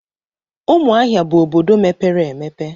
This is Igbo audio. Umuahia bu obodo mepere emepe.